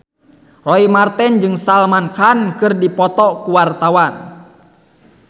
Roy Marten jeung Salman Khan keur dipoto ku wartawan